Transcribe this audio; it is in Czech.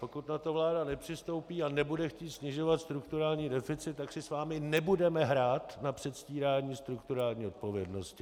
Pokud na to vláda nepřistoupí a nebude chtít snižovat strukturální deficit, tak si s vámi nebudeme hrát na předstírání strukturální odpovědnosti.